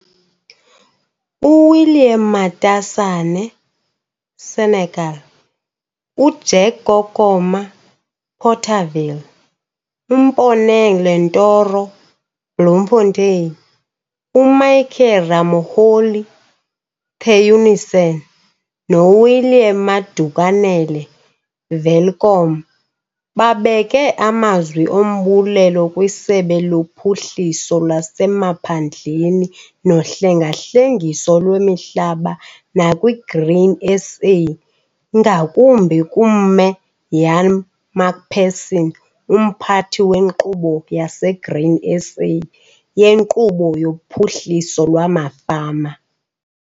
UWilliam Matasane, Senekal, uJack Kokoma, Bothaville, uMponeng Lentoro, Bloemfontein, uMichael Ramoholi, Theunissen, noWillem Modukanele, Welkom, babeke amazwi ombulelo kwiSebe loPhuhliso lwasemaPhandleni noHlenga-hlengiso lweMihlaba nakwiGrain SA - ngakumbi kuMme Jane McPherson, uMphathi weNkqubo yaseGrain SA yeNkqubo yoPhuhliso lwamaFama.